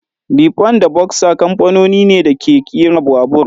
Lifan da boxer kamfanoni ne da ke kera babur.